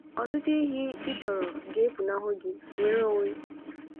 Ọtụtụ ihe ị chọrọ ga-efunahụ gi— nnwere onwe!